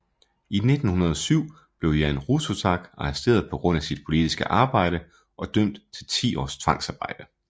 I 1907 blev Jan Rudsutak arresteret på grund af sit politiske arbejde og dømt til ti års tvangsarbejde